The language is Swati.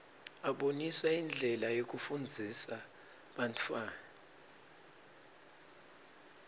abonisa indlela yekufundzisa bantfwana